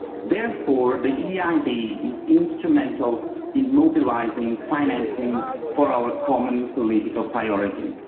Therefore the EIB is instrumental in mobilising financing for our common political priorities.